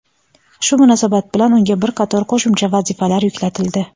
Shu munosabat bilan unga bir qator qo‘shimcha vazifalar yuklatildi.